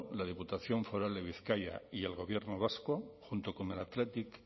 la diputación foral de bizkaia y el gobierno vasco junto con el athletic